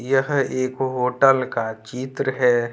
यह एक होटल का चित्र है।